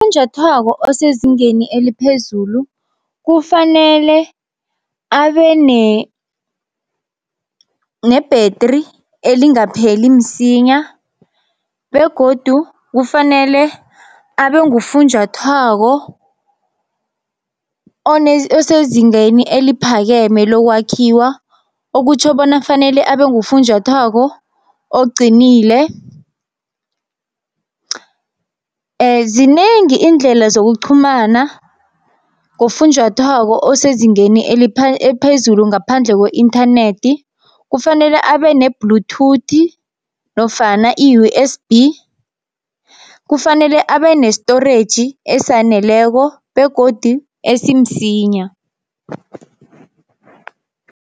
Funjathwako osezingeni eliphezulu kufanele abe nebhetri elingapheli msinya, begodu kufanele abe ngufunjathwako osezingeni eliphakeme lokwakhiwa, okutjho bona fanele abe ngufunjathwako oqinile. Zinengi iindlela zokuqhumana ngofunjathwako osezingeni eliphezulu ngaphandle kwe-inthanethi. Kufanele abe ne-bluetooth nofana i-U_S_B kufanele abe ne-storage esaneleko begodi esimsinya.